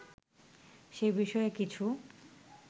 সে বিষয়ে কিছু